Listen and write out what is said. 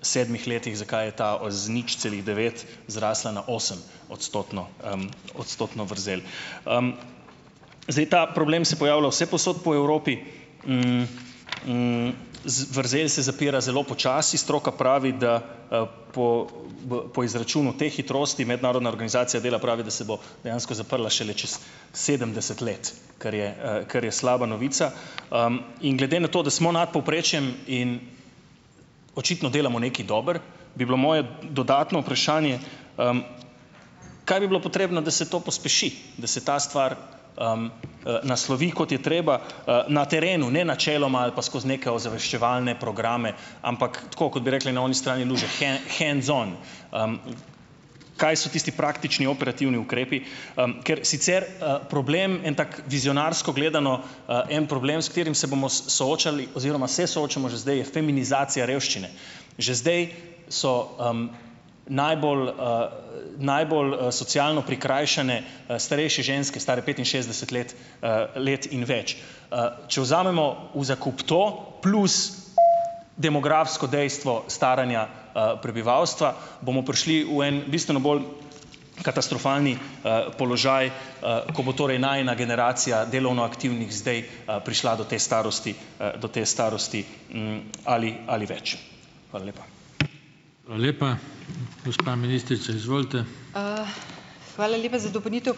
sedmih letih, zakaj je ta z nič celih devet zrasla na osem- odstotno, odstotno vrzel. zdaj, ta problem se pojavlja vse povsod po Evropi, vrzel se zapira zelo počasi, stroka pravi, da, po, po izračunu te hitrosti, Mednarodna organizacija dela pravi, da se bo dejansko zaprla šele čas sedemdeset let, kar je, kar je slaba novica. in glede na to, da smo nad povprečjem in očitno delamo nekaj dobro, bi bilo moje dodatno vprašanje, kaj bi bilo potrebno, da se to pospeši? Da se ta stvar, naslovi, kot je treba, na terenu, ne, načeloma ali pa skozi neke ozaveščevalne programe, ampak tako, kot bi rekli na oni strani luže, , hands on. kaj so tisti praktični operativni ukrepi? ker sicer, problem, en tak vizionarsko gledano, en problem, s katerim se bomo soočili oziroma se soočamo že zdaj, je feminizacija revščine. Že zdaj so, najbolj, najbolj, socialno prikrajšane, starejše ženske, stare petinšestdeset let, let in več. če vzamemo v zakup to plus demografsko dejstvo staranja, prebivalstva, bomo prišli v en bistveno bolj katastrofalni, položaj, ko bo torej najina generacija delovno aktivnih, zdaj, prišla do te starosti, do te starosti, ali, ali več. Hvala lepa.